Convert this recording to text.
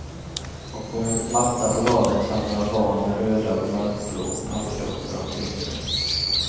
Och på en matta på golvet satt några barn med röda och mörkblå pappdosor omkring sig.